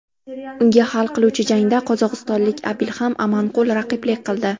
Unga hal qiluvchi jangda qozog‘istonlik Abilxan Amanqul raqiblik qildi.